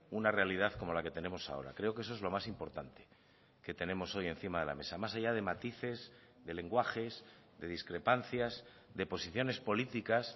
una realidad como la que tenemos ahora creo que eso es lo más importante que tenemos hoy encima de la mesa más allá de matices de lenguajes de discrepancias de posiciones políticas